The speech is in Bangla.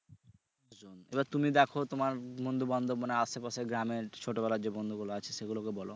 আচ্ছা তুমি দেখো তোমার বন্ধু বান্ধব মানে আশেপাশে গ্রামের ছোটবেলার যে বন্ধুগুলা আছে সেগুলোকে বলো